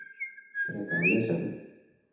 Frekara lesefni: